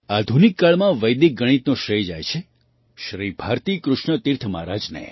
આધુનિક કાળમાં વૈદિક ગણિતનો શ્રેય જાય છે શ્રી ભારતી કૃષ્ણ તીર્થ મહારાજને